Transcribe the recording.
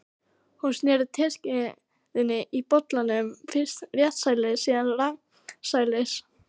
Hún sneri teskeiðinni í bollanum, fyrst réttsælis, síðan rangsælis.